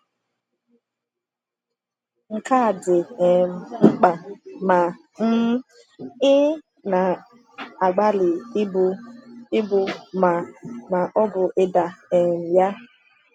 Nke a dị um mkpa ma um ị na-agbalị ibu ibu ma ma ọ bụ ida um ya.